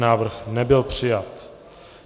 Návrh nebyl přijat.